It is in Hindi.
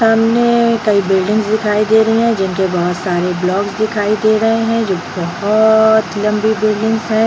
सामने कई बिल्डिंगस दिखाई दे रही हैं जिनके बहुत सारे ब्लॉक्स दिखाई दे रहे हैं जो कि बहुत लम्बी बिल्डिंगस है ।